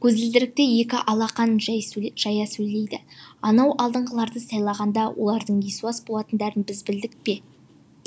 көзілдірікті екі алақанын жай жая сөйледі анау алдыңғыларды сайлағанда олардың есуас болатындарын біз білдік пе